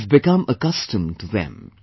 We have become accustomed to them